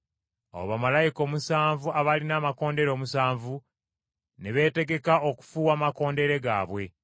Awo bamalayika omusanvu abaalina amakondeere omusanvu ne beetegeka okufuuwa amakondeere gaabwe.